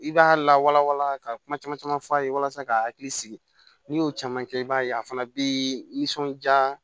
I b'a lawala wala ka kuma caman caman f'a ye walasa ka hakili sigi n'i y'o caman kɛ i b'a ye a fana bɛ nisɔndiya